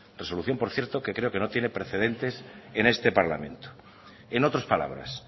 resolución por cierto que creo que no tiene precedentes en este parlamento en otras palabras